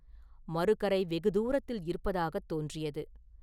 மறுகரை வெகு தூரத்தில் இருப்பதாகத் தோன்றியது.